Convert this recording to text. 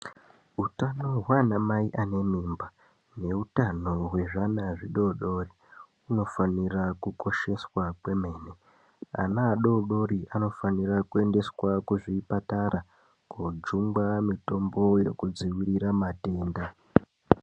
Utano hwana mai ane mimba ne hutano hwezvi ana zvidodori kuno fanira ku kosheswa kwemene ana adodori ano fanira ku endeswawo ku zvipatara ko jungwa mitombo yeku dzivirira matenda.